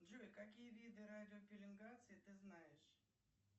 джой какие виды радиопелингации ты знаешь